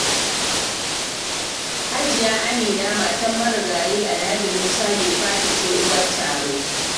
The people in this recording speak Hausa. Hajiya Amina matar marigayi Alhaji Musa Maifata ce Uwar Taro.